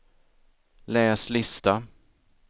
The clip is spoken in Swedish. läs lista